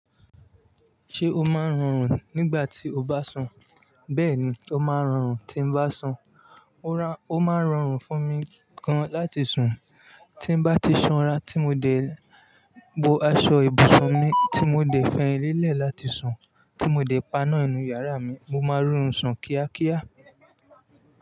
Ṣé o máa ń rọrùn nígbà tí o bá sùn? Bẹ́ẹ̀ ni, ó máa ń rọrùn tí ń bá sùn. Ó máa ń rọrùn fún mi gan láti sùn, tí n bá ti sanra tí mo dẹ̀ bo aṣọ ibùsùn mi, tí mo dẹ̀ fẹyin lélẹ̀ láti sùn, tí mo dẹ̀ paná inú yàrá mi, mo máa ń rọrùn sùn kíákíá.